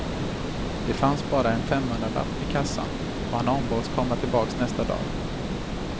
Det fanns bara en femhundralapp i kassan och han ombads komma tillbaka nästa dag.